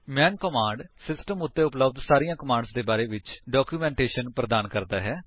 ਮੈਨ command system ਉੱਤੇ ਉਪਲੱਬਧ ਸਾਰੀਆਂ ਕਮਾਂਡਸ ਦੇ ਬਾਰੇ ਵਿੱਚ ਡਾਕੂਮੈਂਟੇਸ਼ਨ ਪ੍ਰਦਾਨ ਕਰਦਾ ਹੈ